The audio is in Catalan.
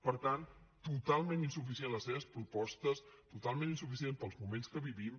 per tant totalment insuficients les seves propostes totalment insuficients pels moments que vivim